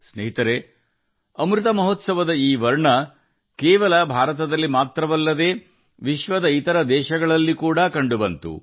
ಸ್ನೇಹಿತರೇ ಅಮೃತ ಮಹೋತ್ಸವದ ಈ ಬಣ್ಣಗಳು ಭಾರತದಲ್ಲಿ ಮಾತ್ರವಲ್ಲ ಪ್ರಪಂಚದ ಇತರ ದೇಶಗಳಲ್ಲಿಯೂ ಕಂಡುಬರುತ್ತವೆ